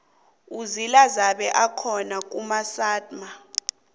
uzila zabe akhona kumasama